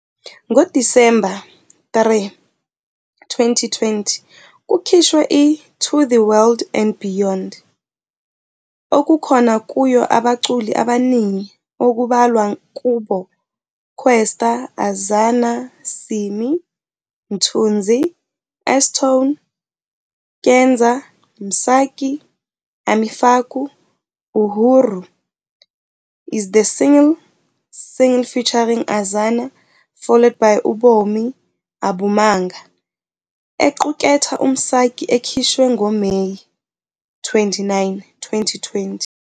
NgoDisemba 3, 2020, "kukhishwe i-To the World and Beyond", okukhona kuyo abaculi abaningi okubalwa kubo, Kwesta, Azana, Simmy, Mthunzi, S-Tone, Kenza, Msaki, Ami Faku, "Uhuru" is the single single featuring Azana, followed by "Ubomi Abumanga" equkethe uMsaki ekhishwe ngoMeyi 29, 2020.